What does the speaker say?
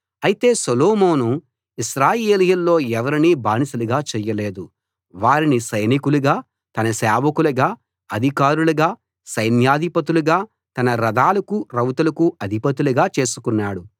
అయితే సొలొమోను ఇశ్రాయేలీయుల్లో ఎవరినీ బానిసలుగా చేయలేదు వారిని సైనికులుగా తన సేవకులుగా అధికారులుగా సైన్యాధిపతులుగా తన రథాలకు రౌతులకు అధిపతులుగా చేసుకున్నాడు